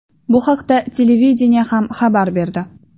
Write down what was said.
Bu haqda televideniye ham xabar berdi.